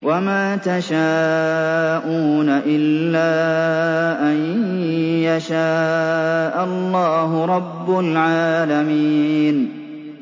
وَمَا تَشَاءُونَ إِلَّا أَن يَشَاءَ اللَّهُ رَبُّ الْعَالَمِينَ